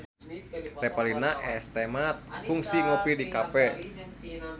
Revalina S. Temat kungsi ngopi di cafe